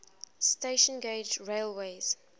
standard gauge railways